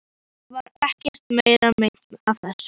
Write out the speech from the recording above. Mér varð ekkert meira meint af þessu.